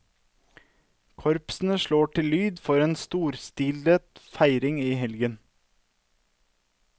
Korpsene slår til lyd for en storstilet feiring i helgen.